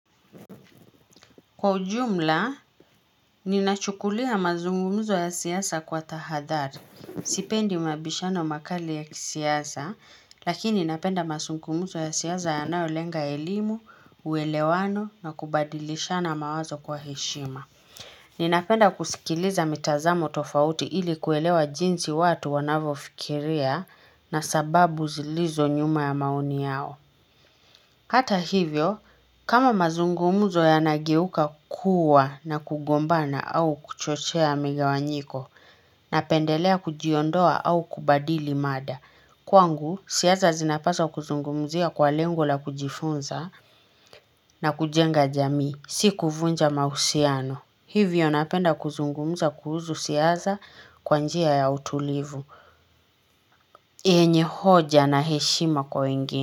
Kwa ujumla, ninachukulia mazungumuzo ya siasa kwa tahadhari, sipendi mabishano makali ya kisiasa, lakini ninapenda mazungumuzo ya siasa yanayolenga elimu, uwelewano na kubadilishana mawazo kwa heshima. Ninapenda kusikiliza mitazamo tofauti ili kuelewa jinsi watu wanavyofikiria na sababu zilizo nyuma ya maoni yao. Hata hivyo, kama mazungumzo yanageuka kuwa na kugombana au kuchochea migawanyiko, napendelea kujiondoa au kubadili mada. Kwangu, siasa zinapaswa kuzungumuzia kwa lengo la kujifunza na kujenga jamii, si kuvunja mahusiano. Hivyo napenda kuzungumuza kuhusu siasa kwa njia ya utulivu, yenye hoja na heshima kwa wengine.